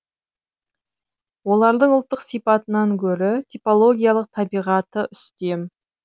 олардың ұлттық сипатынан гөрі типологогиялық табиғаты үстем